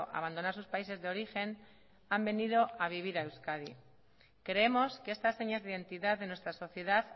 abandonar sus países de origen han venido a vivir a euskadi creemos que estas señas de identidad de nuestra sociedad